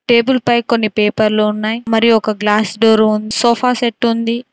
Table పై కొన్ని పేపర్లు ఉన్నాయి మరి ఒక గ్లాస్ డోర్ సోఫా సెట్టు ఉంది.